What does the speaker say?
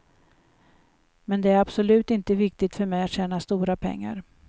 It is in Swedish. Men det är absolut inte viktigt för mig att tjäna stora pengar.